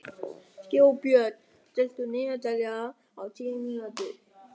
Þjóðbjörn, stilltu niðurteljara á tíu mínútur.